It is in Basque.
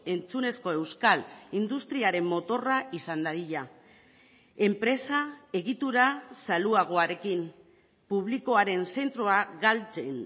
entzunezko euskal industriaren motorra izan dadila enpresa egitura zaluagoarekin publikoaren zentroa galtzen